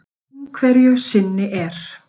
Einhverju sinni er